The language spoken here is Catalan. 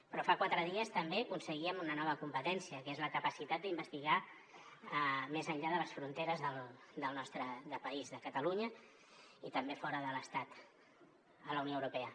però fa quatre dies també aconseguíem una nova competència que és la capacitat d’investigar més enllà de les fronteres del nostre país de catalunya i també fora de l’estat a la unió europea